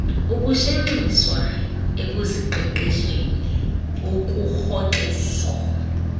ukushenxiswa ekuziqeqesheni ukurhoxiso